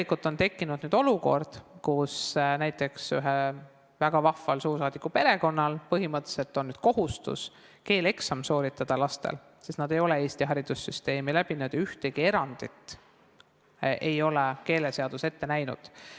Nüüd on tekkinud olukord, kus näiteks ühe väga vahva suursaadiku perekonna lastel põhimõtteliselt on kohustus keeleeksam sooritada, sest nad ei ole Eesti haridussüsteemis kooli lõpetanud ja ühtegi erandit ei ole keeleseadus ette näinud.